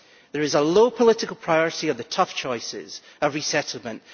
There is a low political priority of the tough choices, a resettlement.